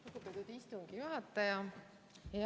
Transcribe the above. Lugupeetud istungi juhataja!